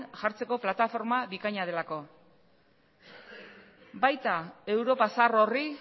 jartzeko plataforma bikaina delako baita europa zahar horri